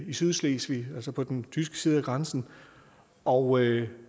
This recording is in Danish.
i sydslesvig altså på den tyske side af grænsen og